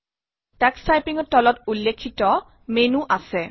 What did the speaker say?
Tux টাইপিঙত তলত উল্লেখিত মেনো আহাৰিকা আছে